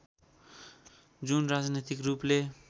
जुन राजनैतिक रूपले